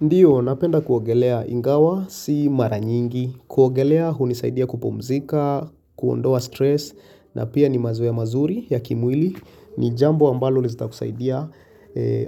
Ndiyo, napenda kuogelea ingawa, si mara nyingi, kuogelea hunisaidia kupumzika, kuondoa stress, na pia ni mazoea mazuri ya kimwili, ni jambo ambalo lita kusaidia,